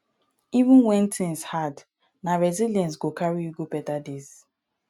even wen tins hard na resilience go carry you go beta days